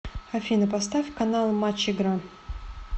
афина поставь канал матч игра